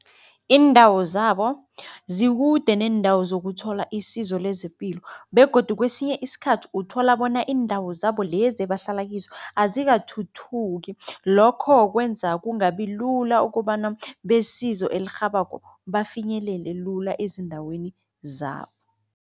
Iindawo zabo zikude neendawo zokuthola isizo lezepilo begodu kwesinye iskhathi uthola bona iindawo zabo lezi ebahlala kizo azikathuthuki. Lokho kwenza kungabi lula ukobana besizo elirhabako bafinyelele lula ezindaweni zabo.